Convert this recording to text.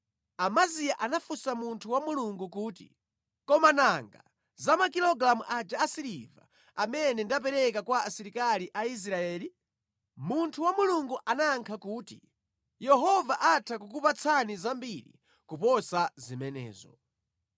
Amaziya anafunsa munthu wa Mulungu kuti, “Koma nanga za makilogalamu aja a siliva amene ndapereka kwa asilikali a Israeli?” Munthu wa Mulungu anayankha kuti, “Yehova atha kukupatsani zambiri kuposa zimenezo.”